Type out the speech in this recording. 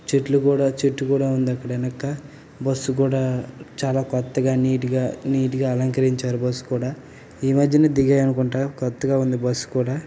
చెట్లు కూడా చెట్టు కూడా ఉంది అక్కడ వెనక బస్ కూడా చాలా కొత్తగా నీట్ గ అలకరించారు బస్ కూడా ఈ మద్యనే ధిగాయి అనుకుంటా కొత్తగా ఉంది బస్ కూడా.